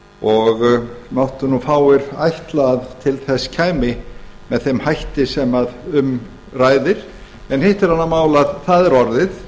og máttu nú fáir ætla að til þess kæmi með þeim hætti sem um ræðir en hitt er annað mál að það er orðið